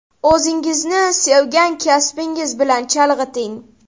O‘zingizni sevgan kasbingiz bilan chalg‘iting!